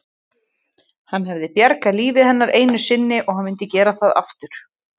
Hann hafði bjargað lífi hennar einu sinni og hann myndi gera það aftur.